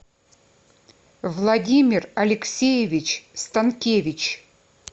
владимир алексеевич станкевич